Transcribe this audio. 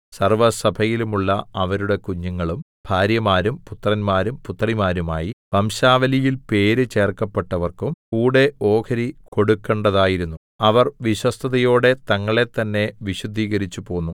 സർവ്വസഭയിലുമുള്ള അവരുടെ കുഞ്ഞുങ്ങളും ഭാര്യമാരും പുത്രന്മാരും പുത്രിമാരുമായി വംശാവലിയിൽ പേര് ചേർക്കപ്പെട്ടവർക്കും കൂടെ ഓഹരി കൊടുക്കണ്ടതായിരുന്നു അവർ വിശ്വസ്തതയോടെ തങ്ങളെ തന്നെ വിശുദ്ധീകരിച്ചുപോന്നു